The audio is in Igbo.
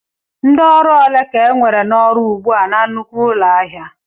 Ndị ọrụ ole ka enwere n'ọrụ ugbu a na nnukwu ụlọ ahịa?